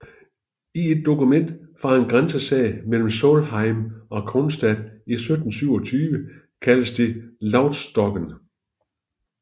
I et dokument fra en grænsesag mellem Solheim og Kronstad i 1727 kaldes det Loustokken